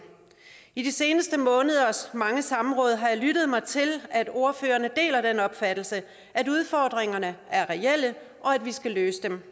i de seneste måneders mange samråd har jeg lyttet mig til at ordførerne deler den opfattelse at udfordringerne er reelle og at vi skal løse dem